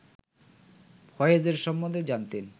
ফয়েজের সম্বন্ধে জানতেন